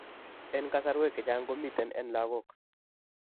En kasarwek chechang komiten en lagok